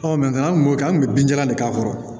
an kun b'o kɛ an kun bɛ bin jalan de k'a kɔrɔ